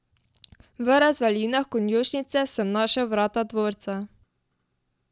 V razvalinah konjušnice sem našel vrata dvorca.